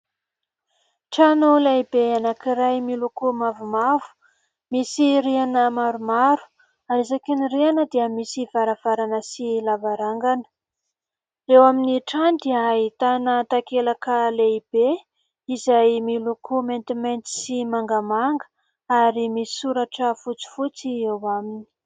Trano lehibe anankiray, miloko mavomavo, misy rihana maromaro ary isaky ny rihana dia misy varavarana sy lavarangana ; eo amin'ny trano dia ahitana takelaka lehibe, izay miloko maintimainty sy mangamanga ary misy soratra fotsifotsy eo aminy.